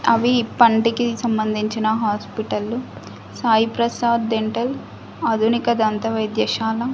అవి పంటికి సంబంధించిన హాస్పిటల్ లు సాయి ప్రసాద్ డెంటల్ ఆధునిక దంత వైద్యశాల.